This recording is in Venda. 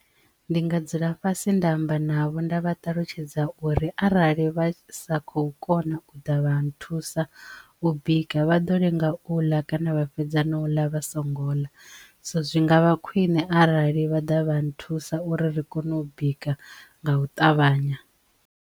Ndi nga dzula fhasi nda amba navho nda vha ṱalutshedza uri arali vha sa khou kona u ḓa vha nthusa u bika vha ḓo lenga u ḽa kana vha fhedza na u ḽa vha songo ḽa so zwi ngavha khwine arali vha ḓa vha nthusa uri ri kone u bika nga u ṱavhanya.